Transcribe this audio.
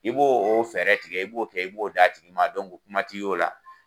I b'o o fɛɛrɛ tigɛ, i b'o kɛ , i b'o da tigi ma kuma ti ye o la.